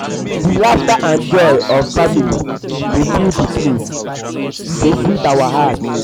di laughter and joy of family dey fill di place dey sweet our heart.